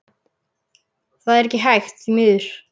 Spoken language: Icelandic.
Það er ekki hægt, því miður.